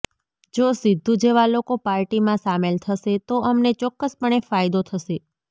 જો સિદ્ધૂ જેવા લોકો પાર્ટીમાં સામેલ થશે તો અમને ચોક્કસપણે ફાયદો થશે